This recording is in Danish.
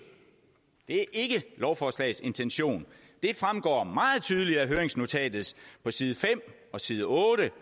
det er ikke lovforslagets intention det fremgår meget tydeligt af høringsnotatet på side fem og side otte